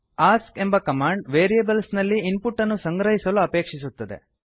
ask ಎಂಬ command variables ನಲ್ಲಿ input ಅನ್ನು ಸಂಗ್ರಹಿಸಲು ಅಪೇಕ್ಷಿಸುತ್ತದೆ